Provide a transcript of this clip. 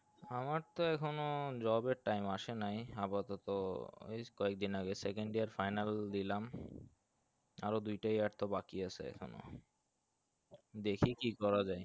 আমার তো এখনো job এর time আসে নাই আপাতত বেশ কয়েকদিন দিন আগে second year final দিলাম আরো দুইটা year তো বাকি আসে এখনও দেখি কি করা যায়